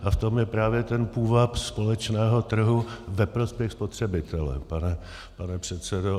A v tom je právě ten půvab společného trhu ve prospěch spotřebitele, pane předsedo.